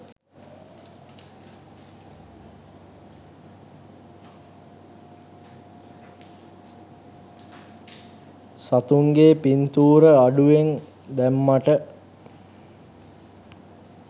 සතුන්ගේ පින්තූර අඩුවෙන් දැම්මට.